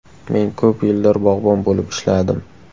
Men ko‘p yillar bog‘bon bo‘lib ishladim.